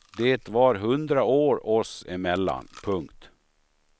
Det var hundra år oss emellan. punkt